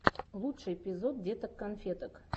лучший эпизод деток конфеток